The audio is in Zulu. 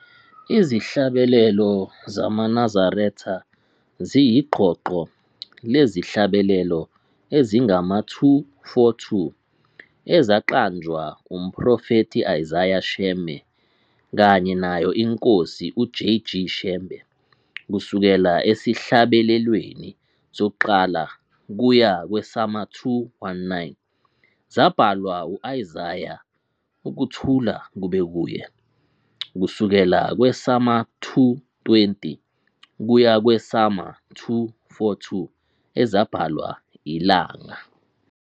Izihlabelelo zamaNazaretha ziyiqoqo lezihlabelelo ezingama-242 ezaqanjwa uMphrofethi Isaiah Shembe kanye nayo iNkosi uJ. G. Shembe. Kusukela esihlabelelweni sokuqala kuya kwesama-219 zabhalwa u-Isaiah, ukuthula kube kuye, kusukela kwesama-220 kuya kwesama-242 ezabhalwa iLanga.